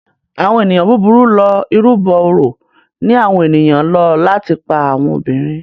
Àwọn ènìyàn búburú lọ ìrúbo òrò ní àwọn ènìyàn ló láti pá àwọn obìrin.